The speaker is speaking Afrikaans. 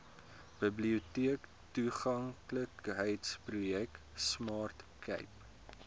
biblioteektoeganklikheidsprojek smart cape